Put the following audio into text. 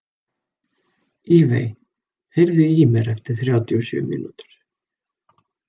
Evey, heyrðu í mér eftir þrjátíu og sjö mínútur.